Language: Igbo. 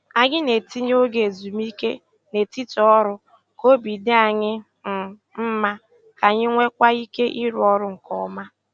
Anyị na-etinye oge ezumike n'etiti ọrụ k'obi dị anyị um mma, k'anyi nweekwa ike ịrụ ọrụ nke ọma.